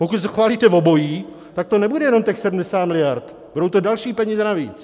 Pokud schválíte obojí, tak to nebude jenom těch 70 miliard, budou to další peníze navíc.